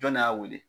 Jɔn de y'a wele